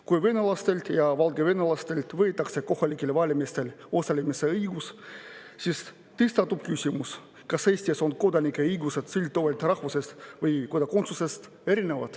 Kui venelastelt ja valgevenelastelt võetakse kohalikel valimistel osalemise õigus, siis tõstatub küsimus, kas Eestis on kodanike õigused erinevad, sõltuvalt rahvusest või kodakondsusest.